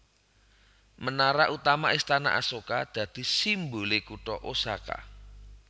Menara utama Istana Asoka dadi simbole kutha Osaka